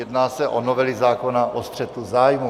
Jedná se o novelu zákona o střetu zájmů.